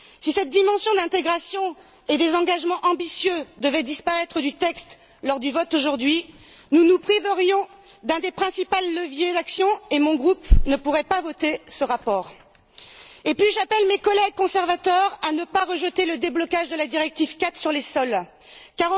Si cette dimension d'intégration et des engagements ambitieux devait disparaître du texte lors du vote aujourd'hui, nous nous priverions d'un des principaux leviers d'action et mon groupe ne pourrait pas voter ce rapport. Par ailleurs, j'appelle mes collègues conservateurs à ne pas rejeter le déblocage de la directive cadre sur la protection des sols.